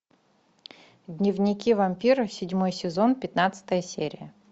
дневники вампира седьмой сезон пятнадцатая серия